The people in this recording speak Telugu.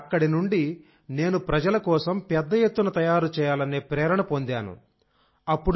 కాబట్టి అక్కడి నుండి నేను ప్రజల కోసం పెద్ద ఎత్తున తయారు చేయాలనే ప్రేరణ పొందాను